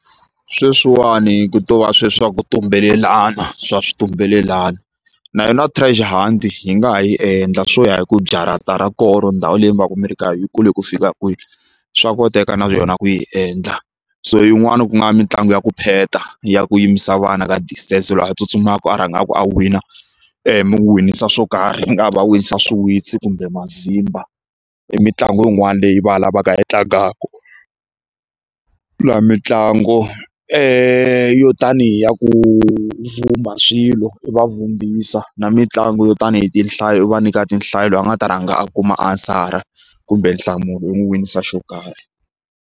Sweswiwani ku to va swe swa ku tumbelelana swa xitumbelelana na yona hi nga ha yi endla swo ya hi ku jarata ra koho or ndhawu leyi mi va ka miri ku yi kule ku fika kwihi swa koteka na yona ku yi endla so yin'wani ku nga mitlangu ya ku pheta ya ku yimisa vana ka distance loyi a tsutsumaka rhangaka a win a mi winisa swo karhi ku nga va wisa swiwitsi kumbe mazimba i mitlangu yin'wana leyi vana va nga yi tlangaka laha mitlangu yo tanihi ya ku vhumba swilo i va vhumbiwlsa na mitlangu yo tanihi tinhlayo u va nyika tinhlayo loyi a nga ta rhanga a kuma aswer-a kumbe nhlamulo u n'wi winisa xo karhi.